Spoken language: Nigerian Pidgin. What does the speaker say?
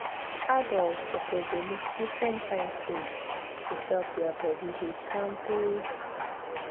adults suppose dey mix different kain food to help their body dey kampe